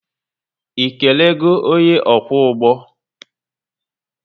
ị kelego onye ọkwọ ụgbọ?